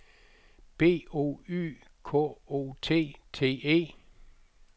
B O Y K O T T E